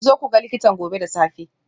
Ku zo ku ga likita gobe da safe.